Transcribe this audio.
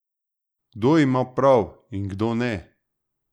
Kdo ima prav in kdo ne?